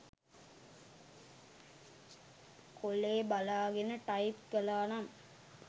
කොලේ බලාගෙන ටයිප් කලානම්